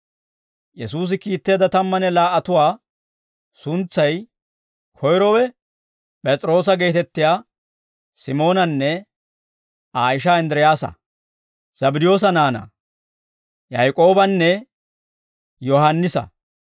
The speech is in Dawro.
Yesuusi kiitteedda tammanne laa"atuwaa suntsay, koyrowe P'es'iroosa geetettiyaa Simoonanne Aa ishaa Inddiraasa, Zabddiyoosa naanaa, Yaak'oobanne Yohaannisa,